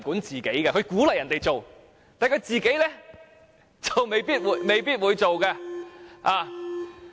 政府鼓勵別人做，但自己卻未必會做。